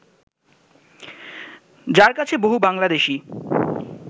যাঁর কাছে বহু বাংলাদেশি